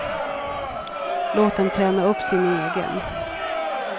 Låt dem träna upp sin egen.